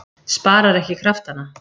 Sparar ekki kraftana.